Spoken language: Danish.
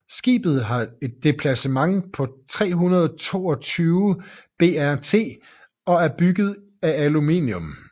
Skibet har et deplacement på 322 BRT og er bygget af aluminium